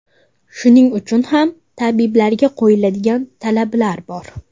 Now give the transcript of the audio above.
Shuning uchun ham tabiblarga qo‘yiladigan talablar bor.